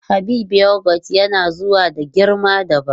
Habib yogot yana zuwa da girma dabam.